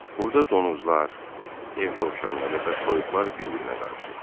Burda donuzlar, ev dovşanları və toyuqlar bir-birinə qarışıb.